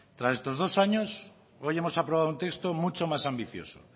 tras estos dos años hoy hemos aprobado un texto mucho más ambicioso